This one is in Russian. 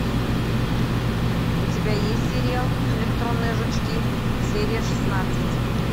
у тебя есть сериал электронные жучки серия шестнадцать